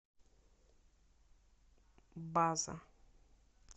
база